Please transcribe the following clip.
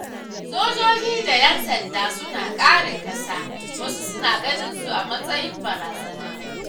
Sojoji da 'yan sanda suna kare ƙasa wasu suna ganinsu a matsayin barazana.